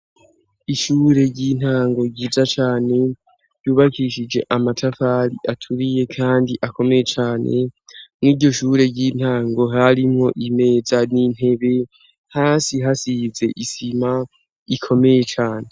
Ishure ry'intango ryiza cane yubakishije amatafari aturiye, kandi akomeye cane mw iryo shure ry'intango harimwo imeza n'intebe hasi hasize isima ikomeye cane.